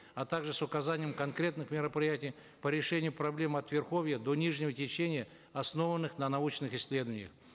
а также с указанием конкретных мероприятий по решению проблемы от верховья до нижнего течения основанных на научных исследованиях